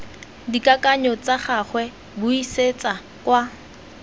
dikakanyo tsa gagwe buisetsa kwa